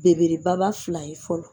Bebereba baba fila ye fɔlɔ